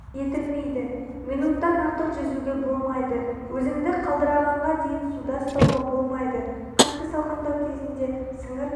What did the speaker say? етілмейді минуттан артық жүзуге болмайды өзіңді қалдырағанға дейін суда ұстауға болмайды қатты салқындау кезінде сіңір